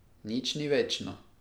Nič ni večno.